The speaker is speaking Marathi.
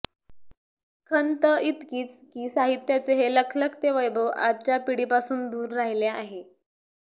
खंत इतकीच की साहित्याचे हे लखलखते वैभव आजच्या पिढीपासून दूर राहिले आहे